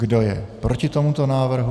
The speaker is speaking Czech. Kdo je proti tomuto návrhu?